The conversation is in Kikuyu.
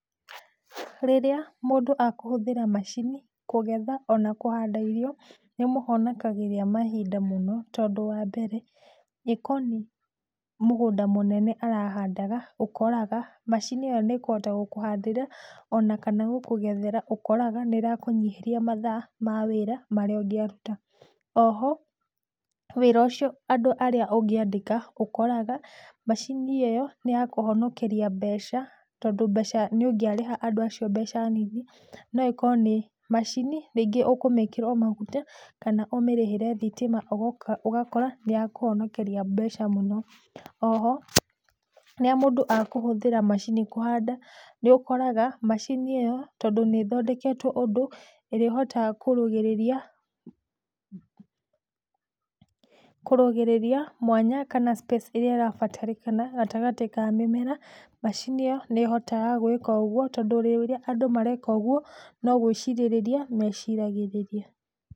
Rĩrĩa mũndũ akũhũthĩra macini kũgetha kana kũhanda irio nĩ ĩmũhonokagĩria mahinda mũno tondũ wa mbere ĩ korwo nĩ mũgũnda mũnene arahandaga ũkoraga macini ĩyo nĩkũhota gũkũhandĩra ona kana gũkũgethera ũkoraga nĩrakũnyihĩria mathaa ma wĩra marĩa ũngĩaruta, oho wĩra ũcio andũ arĩa ũngĩandĩka ũkoraga macini ĩyo nĩyakũhonokeria mbeca tondũ nĩũngĩarĩha andũ acio mbeca nini na ĩkorwo nĩ macini rĩngĩ ũkũmĩkĩra o maguta kana ũmĩrĩhĩre thitima ũgakora nĩyakũhonokeria mbeca mũno, oho rĩrĩa mũndũ akũhũthĩra macini kũhanda nĩ ũkoraga macini ĩyo tondũ nĩĩthondeketwo ũndũ ĩrĩhotaga kũrũgĩrĩria mwanya kana space ĩrĩa ĩrabatarĩkana gatagatĩ kaa mĩmera macini ĩyo nĩĩhotaga gwĩka ũgũo tondũ rĩrĩa andũ mareka ũguo no gwĩcirĩrĩria meciragĩrĩria.